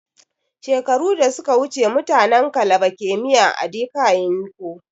Shekaru da suka wuce mutanin kalaba ke miyan ( edika yin kon)